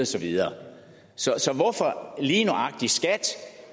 så videre så hvorfor gælder lige nøjagtig skat